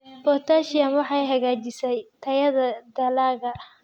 Potassium waxay hagaajisaa tayada dalagga.